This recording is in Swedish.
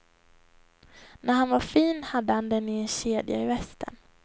När han var fin hade han den i en kedja i västen.